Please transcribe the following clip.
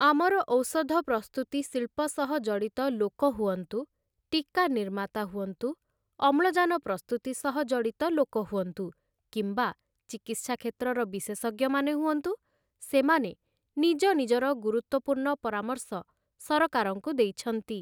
ଆମର ଔଷଧ ପ୍ରସ୍ତୁତି ଶିଳ୍ପ ସହ ଜଡ଼ିତ ଲୋକ ହୁଅନ୍ତୁ, ଟିକା ନିର୍ମାତା ହୁଅନ୍ତୁ, ଅମ୍ଳଜାନ ପ୍ରସ୍ତୁତି ସହ ଜଡ଼ିତ ଲୋକ ହୁଅନ୍ତୁ କିମ୍ବା ଚିକିତ୍ସା କ୍ଷେତ୍ରର ବିଶେଷଜ୍ଞମାନେ ହୁଅନ୍ତୁ, ସେମାନେ ନିଜ ନିଜର ଗୁରୁତ୍ୱପୂର୍ଣ୍ଣ ପରାମର୍ଶ ସରକାରଙ୍କୁ ଦେଇଛନ୍ତି ।